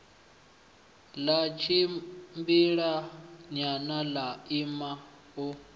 ḽa tshimbilanyana ḽa ima u